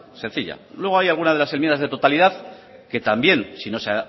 sencilla luego hay alguna de las enmiendas de totalidad que también si no se